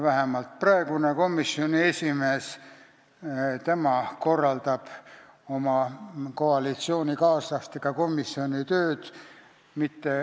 Vähemalt praegune komisjoni esimees on see, kes korraldab oma koalitsioonikaaslastega komisjoni tööd.